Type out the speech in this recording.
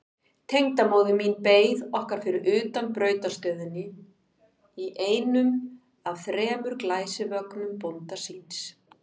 Tengdamóðir mín beið okkar fyrir utan brautarstöðina í einum af þremur glæsivögnum bónda síns.